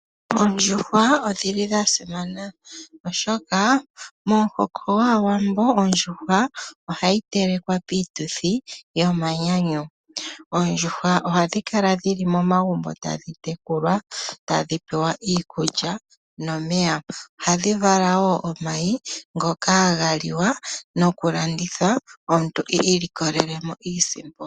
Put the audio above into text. Ondjuhwa odhili dhasimana, momuhoko gwAawambo ohayi telekwa piituthi yomanyanyu. Oondjuhwa ohadhi tekulwa momagumbo tadhi pewa iikulya oshowo omeya oshoka, ohadhi vala omayi ngono omuntu ta vulu okulanditha a mone iisimpo.